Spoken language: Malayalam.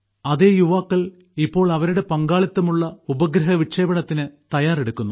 അതേ യുവാക്കൾ ഇപ്പോൾ അവരുടെ പങ്കാളിത്തമുള്ള ഉപഗ്രഹ വിക്ഷേപണത്തിന് തയ്യാറെടുക്കുന്നു